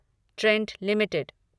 Trent limited